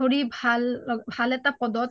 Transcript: ধৰি ভাল এটা পদত